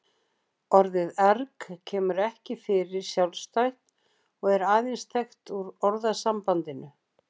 Orðið erg kemur ekki fyrir sjálfstætt og er aðeins þekkt úr orðasambandinu.